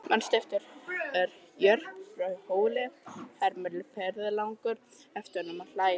Manstu eftir Jörp frá Hóli, hermir ferðalangur eftir honum og hlær.